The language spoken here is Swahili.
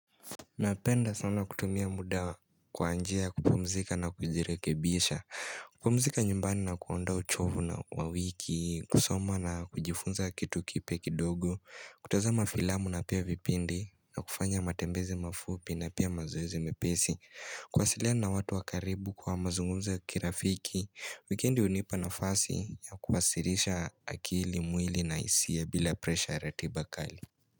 Napenda sana kutumia muda kwaanjia kupumzika na kujirekebisha kupumzika nyumbani na kuondoa uchovu na wawiki kusoma na kujifunza kitu kipya kidogo kutazama filamu na pia vipindi na kufanya matembezi mafupi na pia mazoezi mepesi kuwasiliana na watu wakaribu kwa mazungumzo ya kirafiki Weekendi hunipa nafasi ya kuwasirisha akili mwili na hisia bila presha ya ratiba kali.